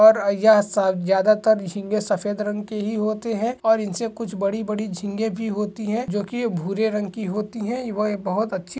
और ये सब ज्यादा तर झींगे सफेद रंग के ही होते है और इन से कुछ बड़ी-बड़ी झींगे भी होती है जो कि ये भूरे रंग की होती है वो एक बहुत अच्छी --